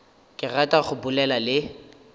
ke rata go bolela le